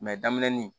daminɛnin